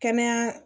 Kɛnɛya